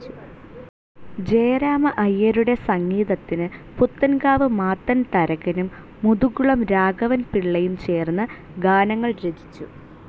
ജയരാമ അയ്യരുടെ സംഗീതത്തിനു് പുത്തൻകാവ് മാത്തൻ തരകനും, മുതുകുളം ‌രാഘവൻപിള്ളയും ചേർന്നു് ഗാനങ്ങൾ രചിച്ചു.